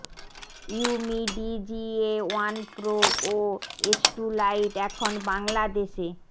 Umidigi A one pro ও S two lite এখন বাংলাদেশে